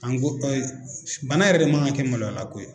An ko bana yɛrɛ de man kan ka kɛ maloyalako ye.